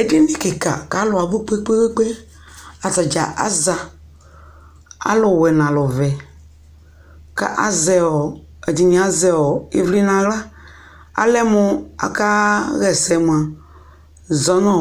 edini kika ka alʋ abʋ kpekpe kpee atadza aza alʋwɛ na alʋ vɛ azɛɔ ɛdini azɛɔ ivli naɣla alɛmʋ aka hɛsɛ mʋa zɔnʋɔ